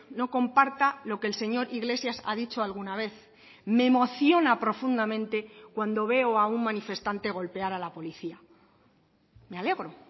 no comparta lo que el señor iglesias ha dicho alguna vez me emociona profundamente cuando veo a un manifestante golpear a la policía me alegro